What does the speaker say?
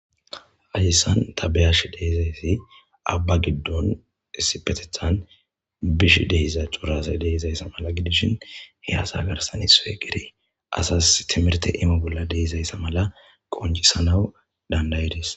Hadissan ta beyash deizayssi abba giddon issipetethan bish dehiza cuurase deizayssa mala gidishin he asa garsan i so'e geri asas timirte imo bolla deizayssa mala qonjisanawu dandayidis.